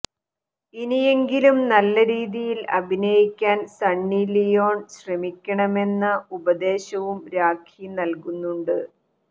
ഇനിയെങ്കിലും നല്ല രീതിയിൽ അഭിനയിക്കാൻ സണ്ണി ലിയോൺ ശ്രമിക്കണമെന്ന ഉപദേശവും രാഖി നൽകുന്നുണ്ട്